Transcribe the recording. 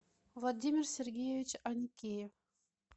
владимир сергеевич аникеев